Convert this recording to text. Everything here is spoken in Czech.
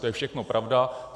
To je všechno pravda.